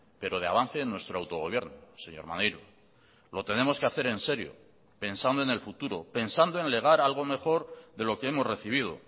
pero de avance en nuestro autogobierno señor maneiro lo tenemos que hacer en serio pensando en el futuro pensando en legar algo mejor de lo que hemos recibido